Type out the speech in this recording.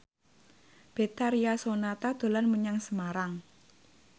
Betharia Sonata dolan menyang Semarang